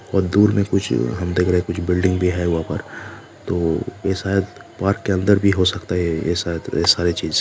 और दूर में कुछ हम देखरे बिल्डिंग भी है वह पर तो ये शायद पार्क के अंदर भी हो सकती है ये शायद ये सारी चीज।